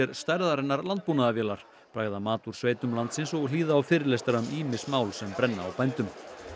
stærðarinnar landbúnaðarvélar bragða mat úr sveitum landsins og hlýða á fyrirlestra um ýmis mál sem brenna á bændum